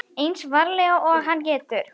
Eins varlega og hann getur.